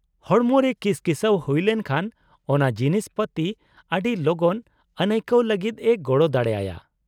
-ᱦᱚᱲᱢᱚ ᱨᱮ ᱠᱤᱥᱠᱤᱥᱟᱹᱣ ᱦᱩᱭ ᱞᱮᱱᱠᱷᱟᱱ ᱚᱱᱟ ᱡᱤᱱᱤᱥ ᱯᱟᱹᱛᱤ ᱟᱹᱰᱤ ᱞᱚᱜᱚᱱ ᱟᱹᱱᱟᱹᱭᱠᱟᱹᱣ ᱞᱟᱹᱜᱤᱫ ᱮ ᱜᱚᱲᱚ ᱫᱟᱲᱮ ᱟᱭᱟ ᱾